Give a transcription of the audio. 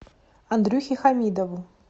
андрюхе хамидову